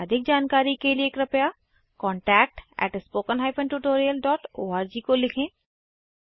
अधिक जानकारी के लिए कृपया contactspoken tutorialorg को लिखें